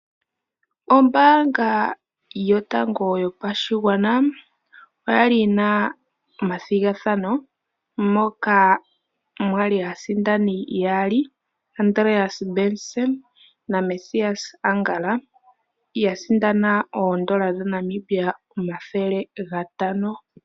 Ombaanga yotango yopashigwana oyali yina omathigathano moka mwali aasindani yaali Andreas Benson na Mesias Angala ya sindana oodola dhaNamibia omathele gatano.